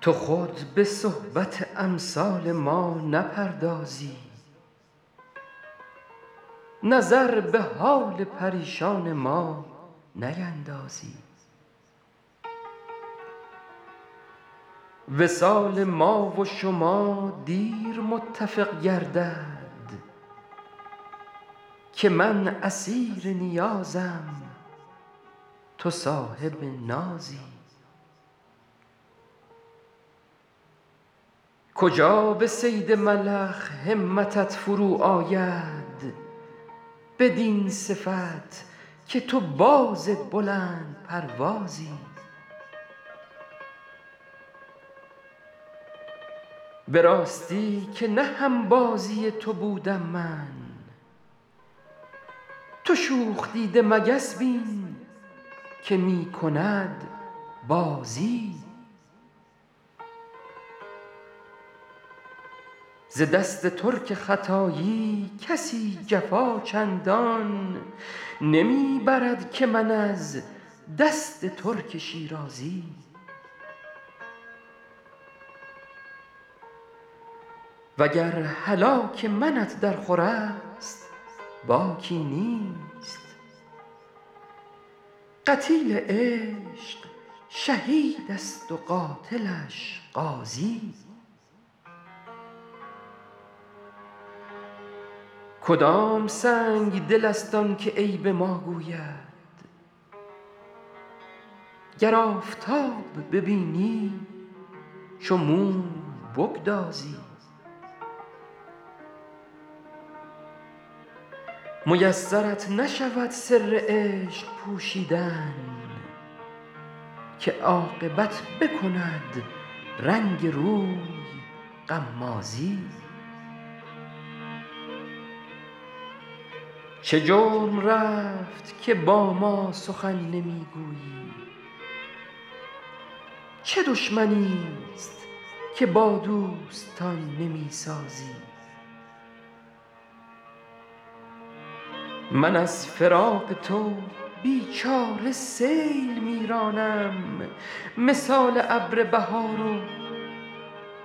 تو خود به صحبت امثال ما نپردازی نظر به حال پریشان ما نیندازی وصال ما و شما دیر متفق گردد که من اسیر نیازم تو صاحب نازی کجا به صید ملخ همتت فرو آید بدین صفت که تو باز بلندپروازی به راستی که نه هم بازی تو بودم من تو شوخ دیده مگس بین که می کند بازی ز دست ترک ختایی کسی جفا چندان نمی برد که من از دست ترک شیرازی و گر هلاک منت درخور است باکی نیست قتیل عشق شهید است و قاتلش غازی کدام سنگدل است آن که عیب ما گوید گر آفتاب ببینی چو موم بگدازی میسرت نشود سر عشق پوشیدن که عاقبت بکند رنگ روی غمازی چه جرم رفت که با ما سخن نمی گویی چه دشمنیست که با دوستان نمی سازی من از فراق تو بی چاره سیل می رانم مثال ابر بهار و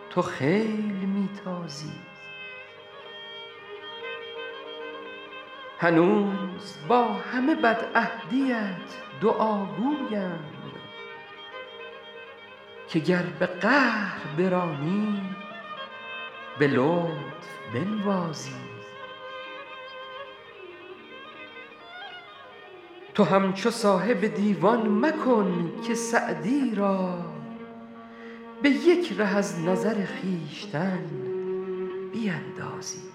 تو خیل می تازی هنوز با همه بدعهدیت دعاگویم که گر به قهر برانی به لطف بنوازی تو همچو صاحب دیوان مکن که سعدی را به یک ره از نظر خویشتن بیندازی